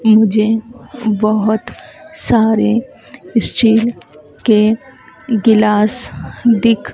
मुझे बहोत सारे स्टील के गिलास दिख--